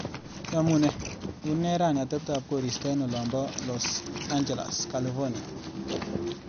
Yamunee, une rani ateptap korista eng olin pa Los Angeles, California?